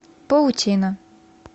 паутина